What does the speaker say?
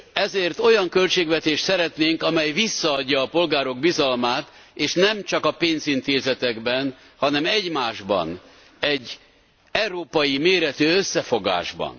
Ezért olyan költségvetést szeretnénk, amely visszaadja a polgárok bizalmát, és nemcsak a pénzintézetekben, hanem egymásban, egy európai méretű összefogásban.